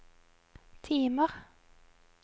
timer